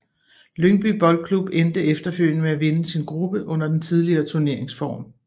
Lyngby Boldklub endte efterfølgende med at vinde sin gruppe under den tidligere turneringsform